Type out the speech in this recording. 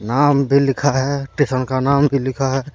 नाम भी लिखा है स्टेशन का नाम भी लिखा है।